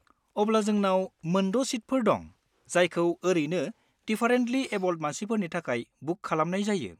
अब्ला जोंनाव मोन द' सिटफोर दं जायखौ ओरैनो डिफारेन्टलि एबोल्ड मानसिफोरनि थाखाय बुक खालामनाय जायो।